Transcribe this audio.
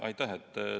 Aitäh!